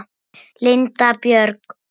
Linda Björg.